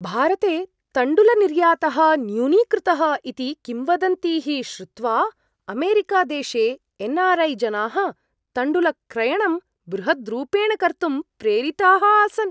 भारते तण्डुलनिर्यातः न्यूनीकृतः इति किंवदन्तीः श्रुत्वा अमेरिकादेशे एन् आर् ऐ जनाः तण्डुलक्रयणं बृहद्रूपेण कर्तुं प्रेरिताः आसन्।